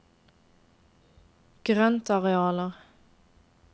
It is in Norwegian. grøntarealer